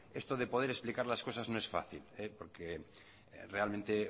esto de poder explicar las cosas no es fácil porque realmente